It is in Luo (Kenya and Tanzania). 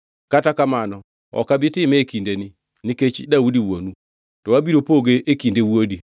Kata kamano, ok abi time e kindeni, nikech Daudi wuonu. To abiro poge e kinde wuodi.